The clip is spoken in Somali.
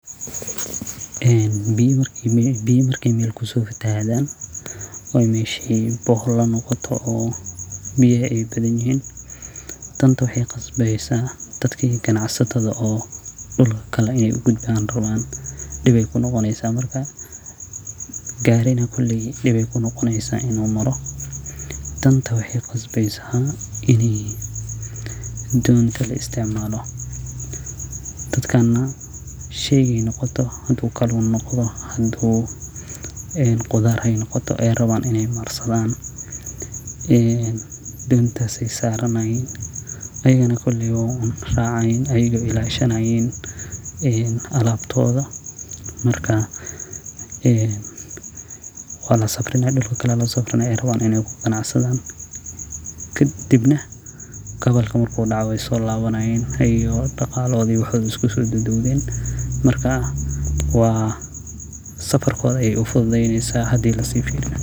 En biya markay mel kufatahadan oo meshi bore hole nogoto danta qaxay qasbeysa dadka qanacsatada mellale in ay uraran diib ayay kunogoneysan, marka gari ayay kunogoneysa inu maro, danta waxay qasbeysa inay wadoyin kale laisticmalo, dadkana unay nogote haday qudar nogoto inay marsadaan, een dontas ayay saranayan iyaguna koley way racayaan, way ilashanyaan, een alabtoda marka een walsafraya dulka kale aya losafraya y rawaan inay kuganacsadn, kadibnah gabalku marku doco qay solawanayaan, iyago daqalahodi iyo waxodi iskusodubdubten, marka wa safarkodi ayay ufusudeyni, hadi lasifiriyo.